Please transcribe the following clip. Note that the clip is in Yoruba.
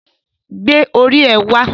Gbé orí ẹ wá